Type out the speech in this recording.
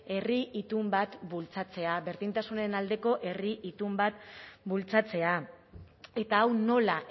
herri itun bat bultzatzea berdintasunen aldeko herri itun bat bultzatzea eta hau nola